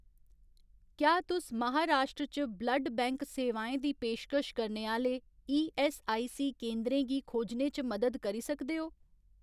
क्या तुस महाराश्ट्र च ब्लड बैंक सेवाएं दी पेशकश करने आह्‌ले ईऐस्सआईसी केंदरें गी खोजने च मदद करी सकदे ओ ?